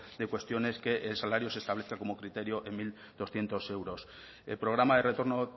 de cuestiones que el salario se establezca como criterio en mil doscientos euros el programa de retorno